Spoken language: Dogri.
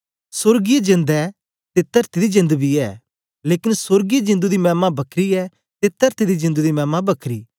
सोर्गीय जेंद ऐ ते तरती दी जेंद बी ऐ लेकन सोर्गीय जिंदु दी मैमा बखरी ऐ ते तरती दी जिंदु दी मैमा बखरी